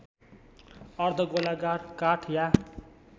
अर्धगोलाकार काठ या